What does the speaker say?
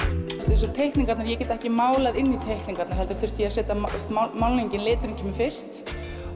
eins og teikningarnar ég get ekki málað inn í teikningarnar heldur þurfti ég að setja málningin liturinn kemur fyrst